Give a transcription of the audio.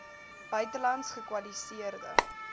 buitelands gekwali seerde